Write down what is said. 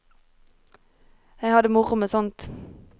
Jeg har det moro med sånt.